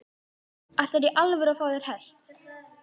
Ætlarðu í alvöru að fá þér hest?